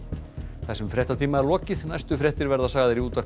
þessum fréttatíma er lokið næstu fréttir verða sagðar í útvarpi